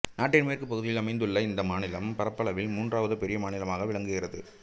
நாட்டின் மேற்குப் பகுதியில் அமைந்துள்ள இந்த மாநிலம் பரப்பளவில் மூன்றாவது பெரிய மாநிலமாக விளங்குகிறது